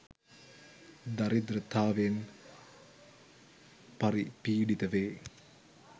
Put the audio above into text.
දරිද්‍රතාවෙන් පරි පීඩිත වේ